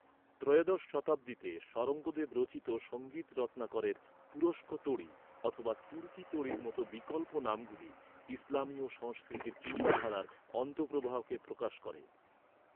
ত্রয়োদশ শতাব্দীতে শরঙ্গদেব রচিত সঙ্গীত রত্নাকরের তুরুষ্ক তোড়ি অথবা 'তুর্কি তোড়ি'র মতো বিকল্প নামগুলি, ইসলামীয় সংস্কৃতির চিন্তাধারার অন্তঃপ্রবাহকে প্রকাশ করে।